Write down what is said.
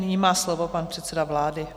Nyní má slovo pan předseda vlády.